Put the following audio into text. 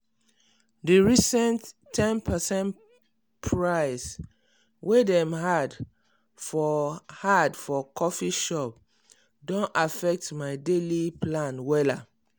di recent ten percent price way dem add for add for coffee shop don affect my daily plan wella